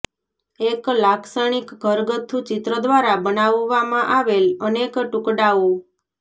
એક લાક્ષણિક ઘરગથ્થુ ચિત્ર દ્વારા બનાવવામાં આવેલ અનેક ટુકડાઓ